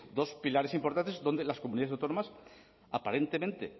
dos pilares importantes donde las comunidades autónomas aparentemente